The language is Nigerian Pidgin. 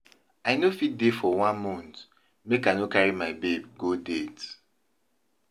I no fit dey for one mont make I no carry my babe go date.